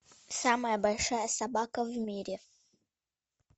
самая большая собака в мире